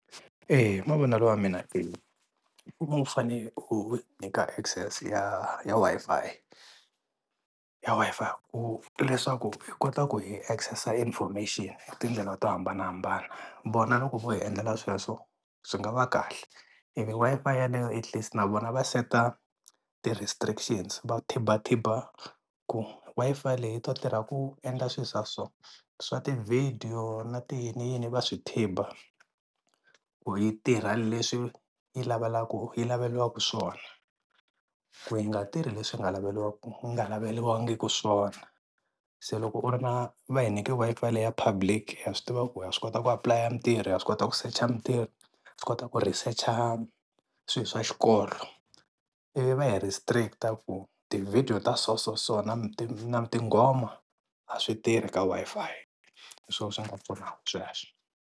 Eya hi mavonelo ya mina u va u fane ku u nyika access ya ya Wi-Fi ya Wi-Fi ku leswaku hi kota ku hi access-a information hi tindlela to hambanahambana vona loko vo hi endlela sweswo swi nga va kahle. Ene Wi-Fi yeleyo at least na vona va set a ti-restrictions va ku Wi-Fi leyi yi ta tirha ku endla swilo swa so swa tivhidiyo na ti yiniyini va swi ku yi tirha leswi yi yi laveriwaka swona ku yi nga tirhi leswi nga yi nga laveliwangiki swona se loko u ri na va hi nyika Wi-Fi le ya public ha swi tiva ku ha swi kota ku apply mintirho, ha swi kota ku secha mintirho, ha swi kota ku ri hi secha swilo wa xikolo ivi va hi restrict-a ku ti-video ta so so so na tinghoma a swi tirhi ka Wi-Fi. Hi swona swi nga pfunaka sweswo.